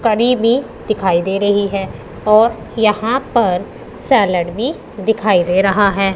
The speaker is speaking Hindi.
करी भी दिखाई दे रही है और यहां पर सैलेड भी दिखाई दे रहा है।